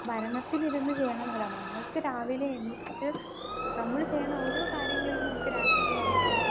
Speaker 2 ഭരണത്തിൽ ഇരുന്ന് ചെയണതല്ല. നമ്മൾക്ക് രാവിലെ എണീറ്റ് നമ്മള് ചെയ്യണ ഓരോ കാര്യങ്ങളിലും നമുക്ക് രാഷ്ട്രീയ അവബോധം